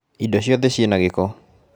Indo ciothe ci na gĩko